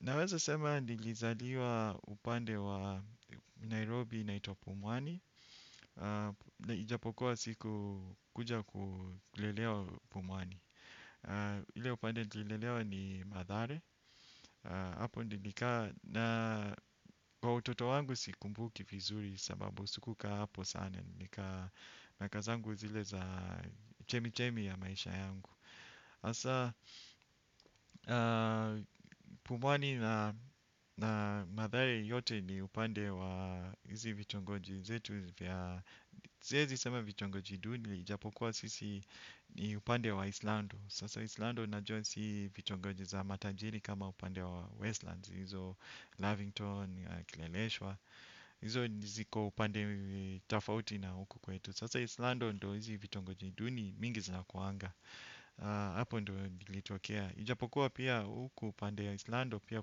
Naweza sema nilizaliwa upande wa Nairobi inaitwa Pumwani, na ijapokua siku kuja kulelewa Pumwani. Ile upande tulilelewa ni mathare, hapo nilikaa na kwa utoto wangu sikumbuki vizuri sababu sikukaa hapo sana. Nika naka zangu zile za chemi chemi ya maisha yangu. Hasa, pumwani na mathare yote ni upande wa hizi vitongoji zetu vya, siezi sema vitongoji duni, ijapokuwa sisi ni upande wa Islando. Sasa Islando unajua si vitongoji za matajiri kama upande wa Westlands. Hizo Lavington, Kileleshwa, hizo ziko upande tofauti na huku kwetu. Sasa Islando ndo hizi vitongoji duni mingi zinakuanga hapo ndo nilitokea. Ijapokuwa pia huku pande ya Islando pia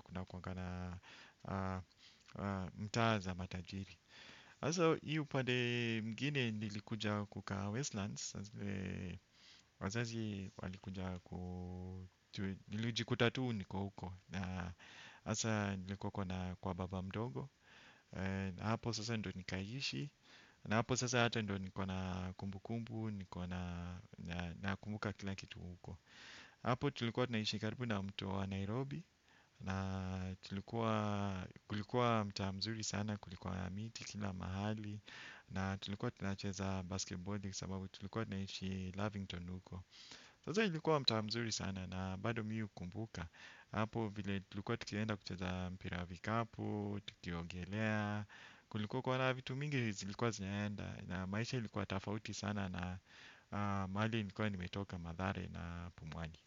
kunakuanga na mtaa za matajiri. Hasa hiyo upande ingine nilikuja kukaa Westlands. Wazazi walikuja ku nilijikuta tu niko huko. Hasa nilikuwa kuna kwa baba mdogo. Hapo sasa ndo nikaiishi. Na hapo sasa hata ndo niko na kumbukumbu, niko na na nakumbuka kila kitu huko hapo tulikuwa tunaishi karibu na mto wa Nairobi. Na tulikuwa kulikuwa mtaa mzuri sana kulikuwa na miti kila mahali. Na tulikuwa tunacheza basketballi sababu tulikuwa tinaishi Lavington huko. Sasa ilikuwa mtaa mzuri sana na bado mimi hukumbuka hapo vile tulikuwa tukienda kucheza mpira wa vikapu, tukiogelea. Kulikuwa kuwa na vitu mingi zilikuwa zinaenda. Na maisha ilikuwa tofauti sana. Na mahali nilikuwa nimetoka mathare na pumwani.